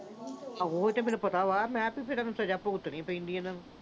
ਉਹ ਤੇ ਮੈਨੂੰ ਪਤਾ ਵਾ। ਤਾਂ ਹੀ ਤਾਂ ਫਿਰ ਸਜ਼ਾ ਭੁਗਤਣੀ ਪੈਂਦੀ ਆ ਇਨ੍ਹਾਂ ਨੂੰ।